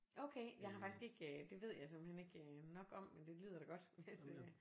Okay jeg har faktisk ikke det ved jeg simpelthen ikke nok om men det lyder da godt hvis øh